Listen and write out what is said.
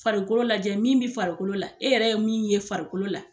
Farikolo lajɛ min bɛ farikolo la e yɛrɛ ye min ye farikolo la.